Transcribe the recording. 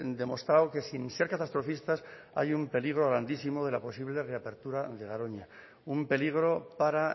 demostrado que sin ser catastrofistas hay un peligro grandísimo de la posible reapertura de garoña un peligro para